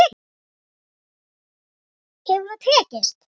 Hefur það tekist?